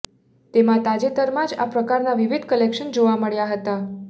તેમાં તાજેતરમાં જ આ પ્રકારના વિવિધ ક્લેકશન જોવા મળ્યા હતા